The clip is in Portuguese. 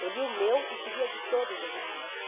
Eu lia o meu e de lia de todas as meninas.